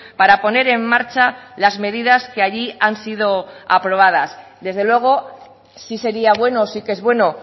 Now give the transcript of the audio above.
para poner en marcha las medidas que allí han sido aprobadas desde luego sí sería bueno sí que es bueno